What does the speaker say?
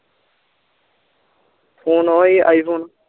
phone ਓਹੀ ਆਈ phone